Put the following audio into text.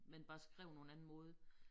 Men bare skrevet på en anden måde